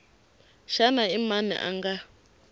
xana i mani a nga